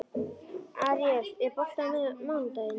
Aríel, er bolti á mánudaginn?